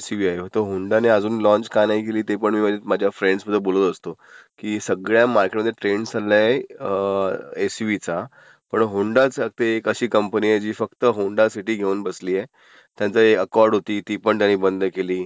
XUV आहे. होंडाने अजून लॉन्च का नाही केली ते पण मी माझ्या फ्रेंडस् सोबत बोलतं असतो की सध्या मार्केटमध्ये ट्रेन्ड चाललाय अं..एक्स्यूव्हीचा पण, होंडाच एक अशी कंपनी आहे जी फक्त होंडासिटी घेऊन बसलिय. त्यांची अकॉर्ड होती ती त्यांनी बंद केली,